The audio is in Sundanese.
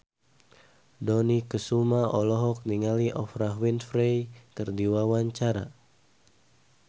Dony Kesuma olohok ningali Oprah Winfrey keur diwawancara